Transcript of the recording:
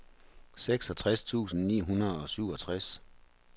seksogtres tusind ni hundrede og syvogtres